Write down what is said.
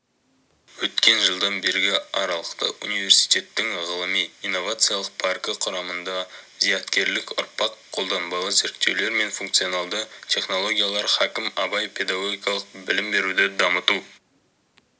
өткен жылдан бергі аралықта университеттің ғылыми-инновациялық паркі құрамында зияткерлік ұрпақ қолданбалы зерттеулер мен функционалды техноогиялар хакім абай педагогикалық білім беруді дамыту